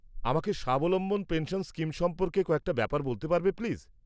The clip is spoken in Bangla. আমাকে স্বাবলম্বন পেনশন স্কিম সম্পর্কে কয়েকটা ব্যাপার বলতে পারবে, প্লিজ?